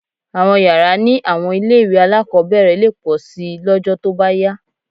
Àwọn yàrá ní àwọn ilé-ìwé alákọ̀ọ́bẹ̀rẹ̀ lè pọ̀ síi lọ́jọ́ tó bá yá